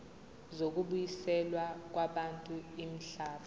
zokubuyiselwa kwabantu imihlaba